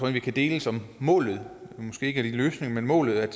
at vi kan enes om målet men måske ikke om løsningen målet er at